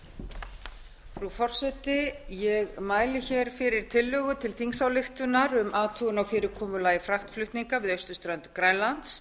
frú forseti ég mæli fyrir tillögu til þingsályktunar um athugun á fyrirkomulagi fraktflutninga við austurströnd grænlands